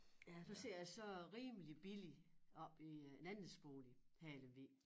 Ja der sidder jeg så rimelig billigt oppe i en andelsbolig her i Lemvig